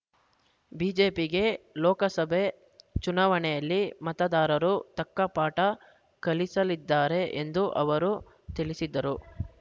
ಬಿಜೆಪಿಗೆ ಲೋಕಸಭೆ ಚುನಾವಣೆಯಲ್ಲಿ ಮತದಾರರು ತಕ್ಕ ಪಾಠ ಕಲಿಸಲಿದ್ದಾರೆ ಎಂದು ಅವರು ತಿಳಿಸಿದರು